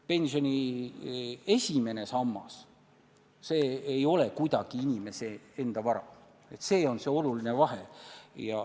Pensioni esimene sammas ei ole kuidagi inimese enda vara, see on oluline vahe.